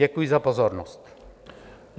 Děkuji za pozornost.